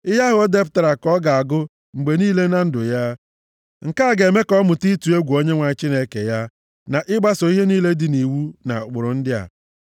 Ihe ahụ o depụtara ka ọ ga-agụ mgbe niile na ndụ ya. Nke a ga-eme ka ọ mụta ịtụ egwu Onyenwe anyị Chineke ya, na ịgbaso ihe niile dị nʼiwu na ụkpụrụ ndị a.